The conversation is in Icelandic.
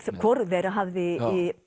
hvorug þeirra hafði